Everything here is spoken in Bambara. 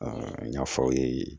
n y'a fɔ aw ye